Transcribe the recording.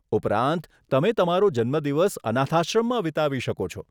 ઉપરાંત, તમે તમારો જન્મદિવસ અનાથાશ્રમમાં વિતાવી શકો છો.